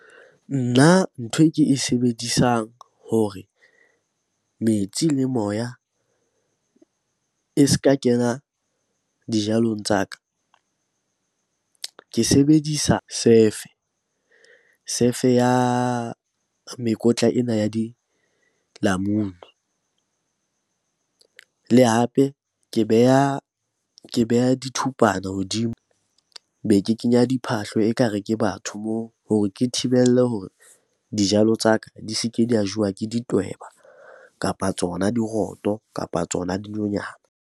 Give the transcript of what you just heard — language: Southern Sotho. Nna ntho e ke e sebedisang hore metsi le moya e se ka kena dijalong tsa ka. Ke sebedisa sefe, sefe ya mekotla ena ya dilamunu. Le hape ke beha dithupana hodimo, be ke kenya diphahlo ekare ke batho moo hore ke thibelle hore dijalo tsa ka di se ke di a jowa ke di tweba, kapa tsona diroto, kapa tsona dinonyana.